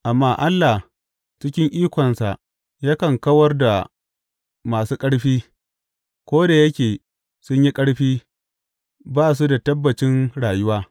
Amma Allah cikin ikonsa yakan kawar da masu ƙarfi, ko da yake sun yi ƙarfi, ba su da tabbacin rayuwa.